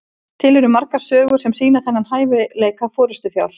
til eru margar sögur sem sýna þennan hæfileika forystufjár